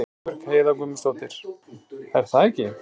Guðbjörg Heiða Guðmundsdóttir: Er það ekki?